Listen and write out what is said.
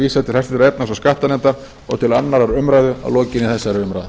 vísað til háttvirtrar efnahags og skattanefndar og til annarrar umræðu að lokinni þessari umræðu